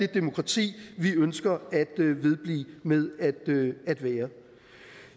demokrati vi ønsker at vedblive med at være